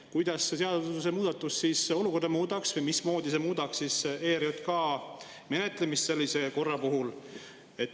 Kuidas see seadusemuudatus olukorda muudaks või mismoodi see muudaks ERJK menetlust sellise puhul?